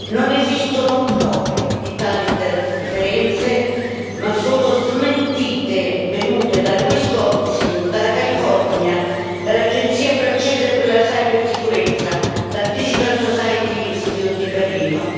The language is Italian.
Non esistono prove di tali interferenze ma solo smentite venute dal Winsconsin, dalla California, dall'Agenzia francese per la cibersicurezza e dal Digital Society Institute di Berlino.